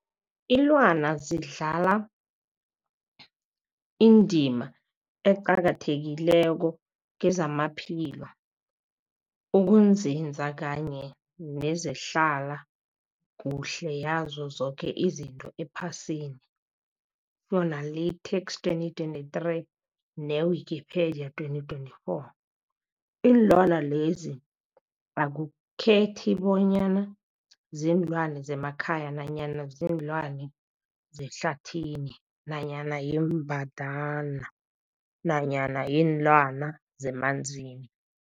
Ilwana zidlala indima eqakathekileko kezamaphilo, ukunzinza kanye nezehlala kuhle yazo zoke izinto ephasini, Fuanalytics 2023, ne-Wikipedia 2024. Iinlwana lezi akukhethi bonyana ziinlwana zemakhaya nanyana kuziinlwana zehlathini nanyana iimbandana nanyana iinlwana zemanzini.